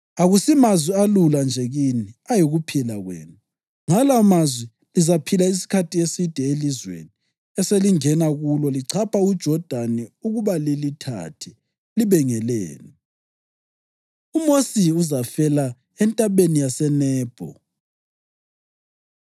Akusimazwi alula nje kini, ayikuphila kwenu. Ngala amazwi lizaphila isikhathi eside elizweni eselingena kulo lichapha uJodani ukuba lilithathe libe ngelenu.” UMosi Uzafela Entabeni YaseNebho